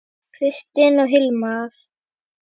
Kristin og Hilmar.